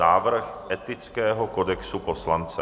Návrh Etického kodexu poslance